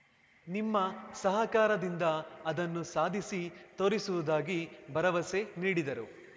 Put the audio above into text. ನಿಮ್ಮ ಸಹಕಾರದಿಂದ ಅದನ್ನು ಸಾಧಿಸಿ ತೋರಿಸುವುದಾಗಿ ಭರವಸೆ ನೀಡಿದರು